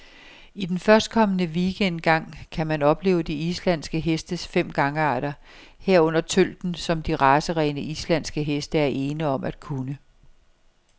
I førstkommende weekend gang kan man opleve de islandske hestes fem gangarter, herunder tølten, som de racerene, islandske heste er ene om at kunne.